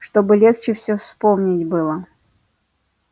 чтобы легче все вспомнить было